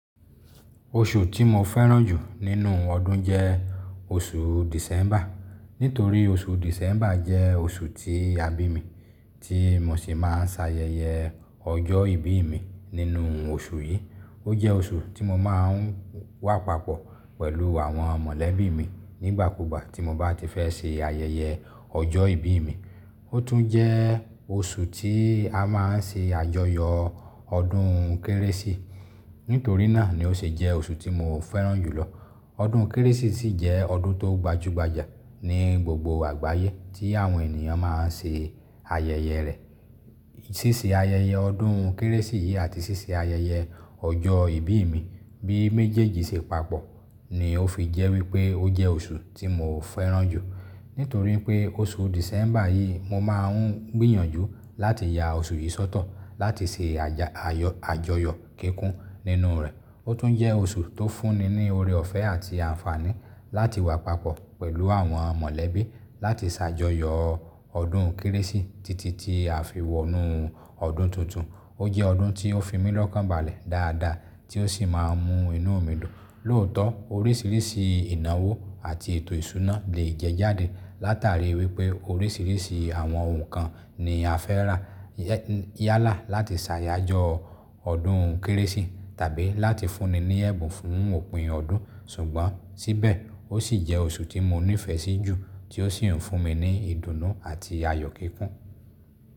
Oṣù tí mo fẹ́ràn jù nínú ọdún jẹ́ oṣù December. Nítorí oṣù December jẹ́ oṣù ti a bi mi tí mo sì máa ń ṣe ayẹyẹ ọjọ́ ìbí mi nínú oṣù yìí. Ó jẹ́ oṣù tí mo máa ń wà papọ̀ pẹ̀lú àwọn mọ̀lẹ́bí mi nígbàkúùgbà tí mo bá ti fẹ́ ṣe ayẹyẹ ọjọ́ ìbí mi. Ó tún jẹ́ oṣù tí a máa ń ṣe àjọyọ̀ ọdún kérésì. Nítorí náà ni ó ṣe jẹ́ oṣù tí mo fẹ́ràn jùlọ. Ọdún kérésì sì jẹ́ ọdún tó gbajúgbajà ní gbogbo àgbáyé tí àwọn ènìyàn máa ń ṣe ayẹyẹ rẹ̀. Sísè ayẹyẹ ọdún kérésì yìí àti ṣíṣe ayẹyẹ ọjọ́ ìbí mi bí méjèèjì ṣe papọ̀ ni ó fi jẹ́ wípé ó jẹ́ oṣù tí mo fẹ́ràn jù. Nítorí pé oṣù December yìí mo máa ń gbìyànjú láti ya oṣù yìí sọ́tọ̀ láti ṣe àjọyọ̀ kíkún nínú rẹ̀. Ó tún jẹ́ oṣù tó fúnni ní oore ọ̀fẹ́ àti àǹfààní láti wà papọ̀ pẹ̀lú àwọn mọ̀lẹ́bí láti ṣàjọyọ̀ ọdún kérésì títí tí a fi wọnú ọdún tuntun. Ó jẹ́ ọdún tí ó fi mí lọ́kànbalẹ̀ dáadáa tí ó sì máa ń mú inú mi dùn. Lóòótọ́ oríṣiríṣi ìnáwó àti ètò ìṣúná le jẹjáde látàrí wípé oríṣiríṣi àwọn nǹkan ni a fẹ́ rà yálà láti ṣàjọyọ̀ ọdún kérésì tàbí láti fúnni ní ẹ̀bùn fún òpin ọdún. Ṣùgbọ́n síbẹ̀ ó sì jẹ́ oṣù tí mo nífẹ̀ẹ́ sí jù tí ó sì ń fún mi ní ìdùnnú àti ayọ̀ kíkún.